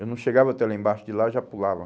Eu não chegava até lá embaixo, de lá eu já pulava.